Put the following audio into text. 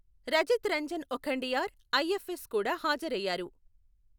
Rajith Ranjan Okhandiar, IFS కూడా హాజరయ్యారు.